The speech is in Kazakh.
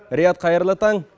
риат қайырлы таң